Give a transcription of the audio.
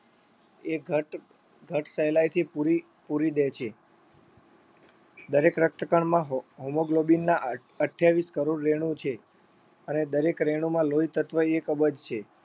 એ ઘટ ઘટ સહેલાઈથી પુરી પુરી દે છે દરેક રક્તકણમાં હો hemoglobin ના અઠ અઠ્યાવીસ કરોડ રેણુ છે અને દરેક રેણુમાં લોહીતત્વ એક અબજ છે